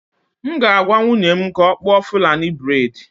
M ga-agwa nwunye m ka ọ kpụọ fulani braid